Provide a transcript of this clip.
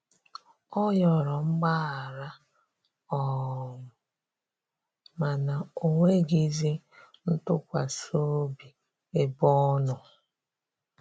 Ọ yọrọ mgbahara um mana onwegizi ntụkwasi obi ebe ọnọ.